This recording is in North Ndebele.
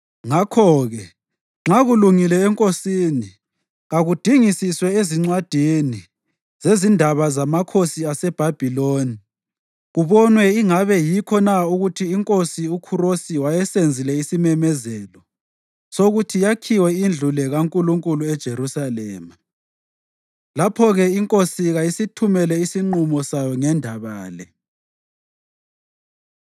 Ngakho-ke nxa kulungile enkosini, kakudingisiswe ezincwadini zezindaba zamakhosi aseBhabhiloni kubonwe ingabe yikho na ukuthi iNkosi uKhurosi wayesenzile isimemezelo sokuthi yakhiwe indlu le kaNkulunkulu eJerusalema. Lapho-ke inkosi kayisithumele isinqumo sayo ngendaba le.